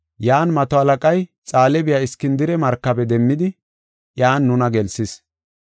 Yan mato halaqay Xaale biya Iskindire markabe demmidi, iyan nuna gelsis.